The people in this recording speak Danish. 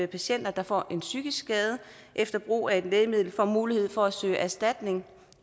patienter der får en psykisk skade efter brug af et lægemiddel får mulighed for at søge erstatning